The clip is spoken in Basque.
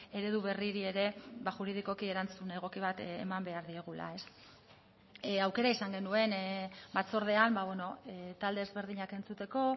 eredu berriri ere juridikoki erantzun egoki bat eman behar diegula aukera izan genuen batzordean talde ezberdinak entzuteko